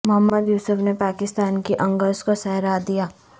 محمد یوسف نے پاکستان کی اننگز کو سہارا دیا